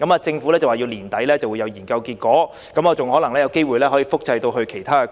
政府說今年年底研究便會有結果，更可能複製到其他地區。